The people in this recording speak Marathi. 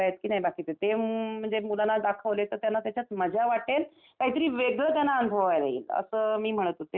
ते म्हणजे मुलांना दाखवले तर त्यांना त्याच्यात मजा वाटेल काहीतरी वेगळं त्यांना अनुभवायला येईल. असं मी म्हणत होते. तर